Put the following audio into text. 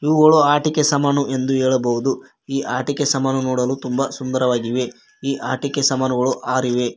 ಇವುಗಳು ಆಟಿಕೆ ಸಾಮಾನು ಎಂದು ಹೇಳಬಹುದು ಈ ಆಟಿಕೆ ಸಾಮಾನು ನೋಡಲು ತುಂಬ ಸುಂದರವಾಗಿವೆ ಈ ಆಟಿಕೆ ಸಾಮಾನುಗಳು ಆರ್ ಇವೆ.